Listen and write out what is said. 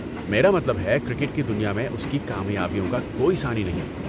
میرا مطلب ہے، کرکٹ کی دنیا میں اس کی کامیابیوں کا کوئی ثانی نہیں۔